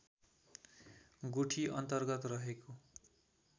गुठी अन्तर्गत रहेको